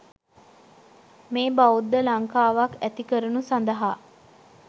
මේ බෞද්ධ ලංකාවක් ඇති කරනු සඳහා